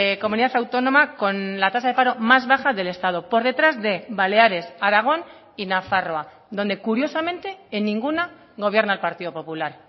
comunidad autónoma con la tasa de paro más baja del estado por detrás de baleares aragón y nafarroa donde curiosamente en ninguna gobierna el partido popular